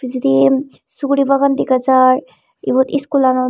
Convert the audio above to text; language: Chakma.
pejedi suguri bagan degajar ebot school lanot.